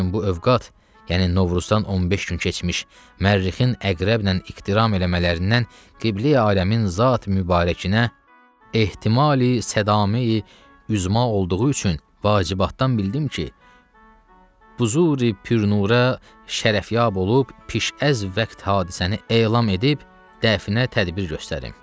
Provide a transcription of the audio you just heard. Lakin bu övqat, yəni Novruzdan 15 gün keçmiş Mərrixin əqrəblə iqtiram eləmələrindən qibleyi aləmin zat mübarəkinə ehtimali sədamə üzma olduğu üçün vacibatdan bildim ki, buzuri pürnura şərafyab olub piş əz vaxt hadisəni elan edib dəfinə tədbir göstərim.